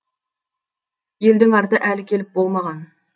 елдің арты әлі келіп болмаған